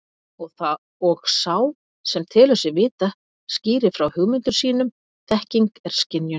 Og sá sem telur sig vita skýrir frá hugmyndum sínum þekking er skynjun.